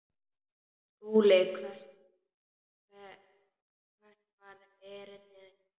SKÚLI: Hvert var erindi yðar?